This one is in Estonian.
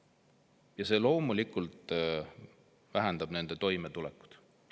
Ja see loomulikult halvendab nende toimetulekut.